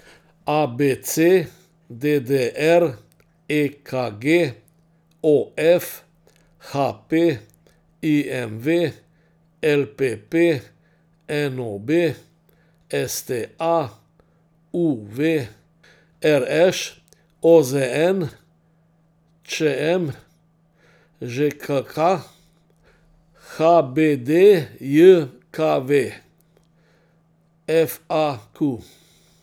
A B C; D D R; E K G; O F; H P; I M V; L P P; N O B; S T A; U V; R Š; O Z N; Č M; Ž K K; H B D J K V; F A Q.